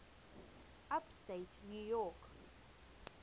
upstate new york